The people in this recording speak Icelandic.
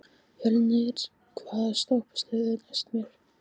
Fjölnir, hvaða stoppistöð er næst mér?